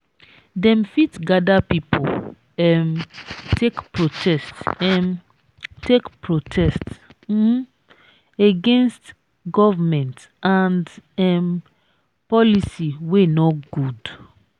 dem fit gather pipo um take protest um take protest um against government and um policy wey no good